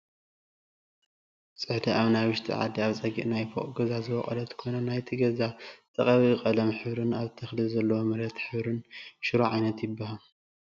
ፅሕዲ ናይ ውሽጢ ዓዲ ኣብ ፀግዒ ናይ ፎቕ ገዛ ዝቦቖለት ኮይና ናይት ገዛ ዝተቐብኢ ቐለም ሕብርን ኣብቲ ተኽሊ ዘለዎ መሬት ሕብርን ሽሮ ዓይነት ይበሃል ።